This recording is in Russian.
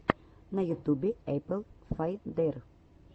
на ютубе эпл файндер